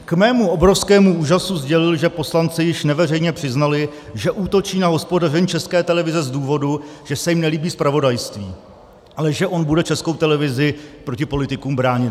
K mému obrovskému úžasu sdělil, že poslanci již neveřejně přiznali, že útočí na hospodaření České televize z důvodu, že se jim nelíbí zpravodajství, ale že on bude Českou televizi proti politikům bránit.